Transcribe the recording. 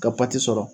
Ka sɔrɔ